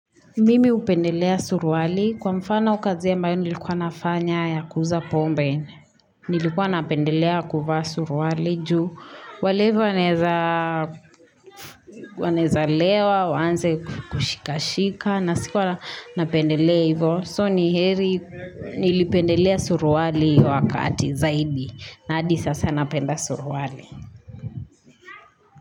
Mimi hupendelea suruali kwa mfano kazi ambayo nilikuwa nafanya ya kuza pombe. Nilikuwa napendelea kuvaa suruwali juu. Walevi wanaeza lewa, wanze kukushika-shika na sikuwa napendelea hivo. So ni heri nilipendelea suruali huo wakati zaidi na hadi sasa napenda suruali.